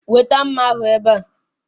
Weta mma ahụ ebe a